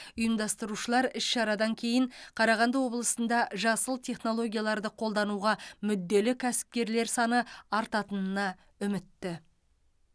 ұйымдастырушылар іс шарадан кейін қарағанды облысында жасыл технологияларды қолдануға мүдделі кәсіпкерлер саны артатынына үмітті